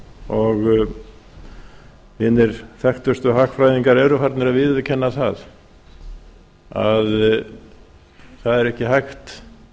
og hinir þekktustu hagfræðingar eru farnir að viðurkenna það að það er ekki hægt